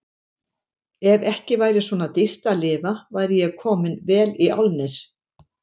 Ef ekki væri svona dýrt að lifa væri ég kominn vel í álnir.